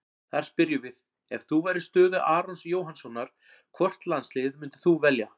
Þar spyrjum við: Ef þú værir í stöðu Arons Jóhannssonar, hvort landsliðið myndir þú velja?